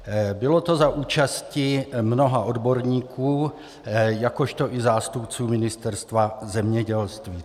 Bylo to za účasti mnoha odborníků, jakož i zástupců Ministerstva zemědělství.